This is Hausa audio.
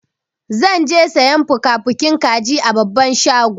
Zan je sayan fukafukin kaji a babban shago.